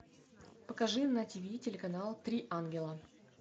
покажи на тв телеканал три ангела